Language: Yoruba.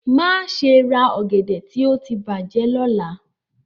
Maṣe ra ogede ti o ti bajẹ lọla!